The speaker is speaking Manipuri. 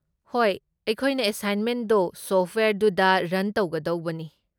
ꯍꯣꯏ, ꯑꯩꯈꯣꯏꯅ ꯑꯦꯁꯥꯏꯟꯃꯦꯟꯗꯣ ꯁꯣꯐꯠꯋꯦꯌꯔꯗꯨꯗ ꯔꯟ ꯇꯧꯒꯗꯧꯕꯅꯤ꯫